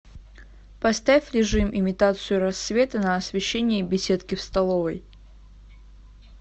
поставь режим имитацию рассвета на освещении беседки в столовой